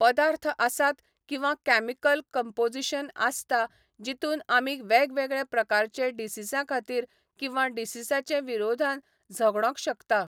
पदार्थ आसात किंवा कॅमिकल कपोजिशन आसता जीतुन आमी वेगवेगळे प्रकारचे डिसिसा खातीर किंवा डिसिसाचे विरोधान झगडोंक शकता